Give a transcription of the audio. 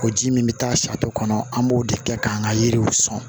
O ji min bɛ taa kɔnɔ an b'o de kɛ k'an ka yiriw sɔn